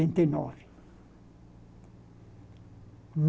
e nove